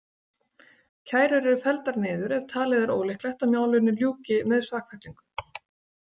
Kærur eru felldar niður ef talið er ólíklegt að málinu ljúki með sakfellingu.